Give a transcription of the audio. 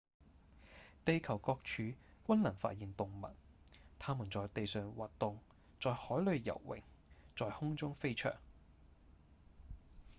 地球各處均能發現動物牠們在地上挖洞、在海裡游泳、在空中飛翔